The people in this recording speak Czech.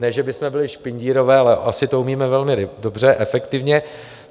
Ne že bychom byli špindírové, ale asi to umíme velmi dobře, efektivně.